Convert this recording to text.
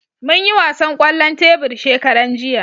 Mun yi wasan kwallon tebur shekaran jiya